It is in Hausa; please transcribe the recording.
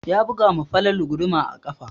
Ya buga ma Falalu guduma a ƙafa.